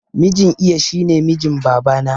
Mijin iya shine mijin babana